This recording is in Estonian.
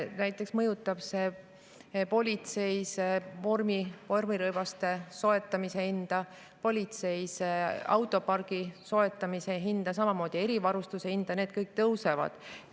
Näiteks mõjutab see politsei vormirõivaste soetamise hinda, politsei autopargi soetamise hinda, samuti erivarustuse hinda – need kõik tõusevad.